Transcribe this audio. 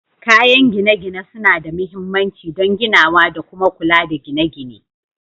Kayan gine-gine suna da mahimmanci don ginawa da kuma kula da gine-gine